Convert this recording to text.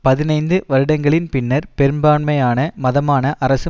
பதினைந்து வருடங்களின் பின்னர் பெரும்பான்மையான மதமான அரசு